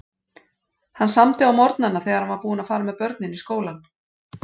Hann samdi á morgnana þegar hann var búinn að fara með börnin í skólann.